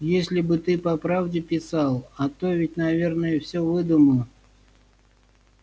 если бы ты по правде писал а то ведь наверное всё выдумал